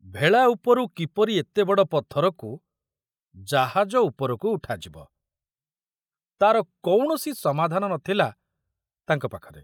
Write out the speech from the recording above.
ଭେଳା ଉପରୁ କିପରି ଏତେ ବଡ଼ ପଥରକୁ ଜାହାଜ ଉପରକୁ ଉଠାଯିବ, ତାର କୌଣସି ସମାଧାନ ନଥିଲା ତାଙ୍କ ପାଖରେ।